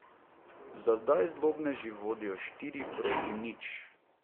Za zdaj zlobneži vodijo štiri proti nič.